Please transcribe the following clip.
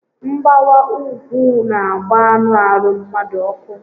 Mgbawa úgwú n'agba anụ arụ mmadu ọkụ